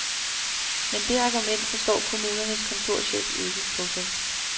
Men det argument forstår kommunens kontorchef ikke. punktum